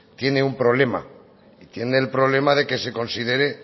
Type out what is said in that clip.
tiene un problema tiene el problema de que se considere